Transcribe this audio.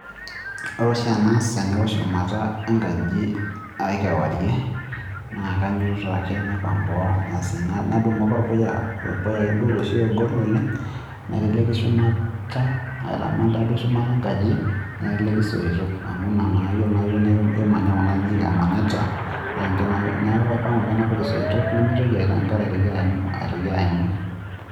Ore oshi enaas teneo shumata enkaji aii kewarie, naa kainyototo ake naipang' boo asi nadumu ake orpuya, orpuya akeduo oloshi ogol oleng', naiteleki shumata aitaman taaduo shumata enkaji naiteleki isoito amu ina naa iyolo naa iyiok kimanya kuna ajiik emanyatta, neeku apang'u ake napik isoito nemitoki enkare aitoki aimu.